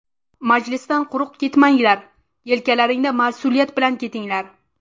Majlisdan quruq ketmanglar, yelkalaringda mas’uliyat bilan ketinglar.